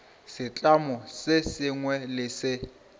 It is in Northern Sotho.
setlamo se sengwe le se